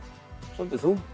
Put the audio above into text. svolítið þungt